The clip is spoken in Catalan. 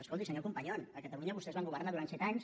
escolti senyor companyon a catalunya vostès van governar durant set anys